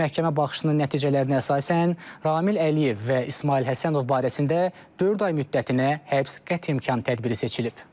Məhkəmə baxışının nəticələrinə əsasən Kamil Əliyev və İsmayıl Həsənov barəsində dörd ay müddətinə həbs qəti imkan tədbiri seçilib.